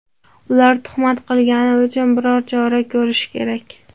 Ular tuhmat qilgani uchun biror chora ko‘rish kerak.